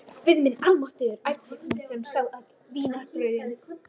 Guð minn almáttugur æpti hún þegar hún sá öll vínarbrauðin.